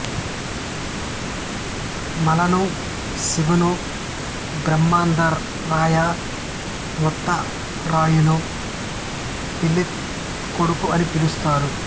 మల్లను శివను బ్రహ్మదరాయ ముత్తారాయణు పిళ్ళై కొడుకు అని పిలుస్తారు